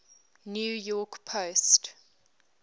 new york post